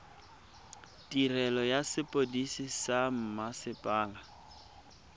tirelo ya sepodisi sa mmasepala